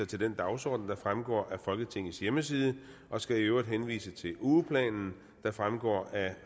til den dagsorden der fremgår af folketingets hjemmeside og skal i øvrigt henvise til ugeplanen der fremgår af